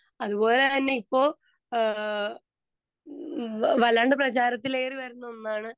speaker 2 അതുപോലെ തന്നെ ഇപ്പൊ അഹ് വല്ലാണ്ട് പ്രചാരത്തിലേറി വരുന്ന ഒന്നാണ്